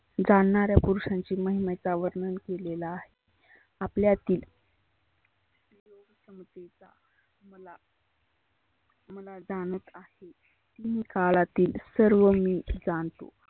जाणनाऱ्या पुरुषांची महिमेचा वर्णन केलेला आहे. आपल्यातील सुयोग समतेचा मला जानत आहे. काळातील सर्व मी जानतो.